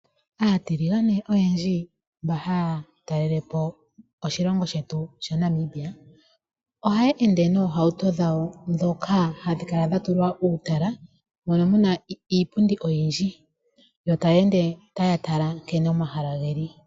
Aatiligane oyendji oha ya talele po oshilongo shetu sha Namibia. Oha ya ende noohauto dhawo ndhoka hadhi kala dha tulwa uutala moka muna iipundi oyindji, yo ta ya ende tate tala nkene omahala ge li.